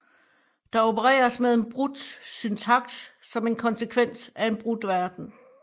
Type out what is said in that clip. Der opereres med en brudt syntaks som en konsekvens af en brudt verden